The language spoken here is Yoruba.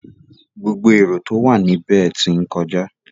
Gbogbo erò tó wà níbẹ̀ tí ń kọjá.